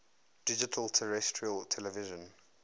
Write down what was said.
digital terrestrial television